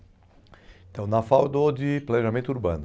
Então, na FAU eu dou de planejamento urbano.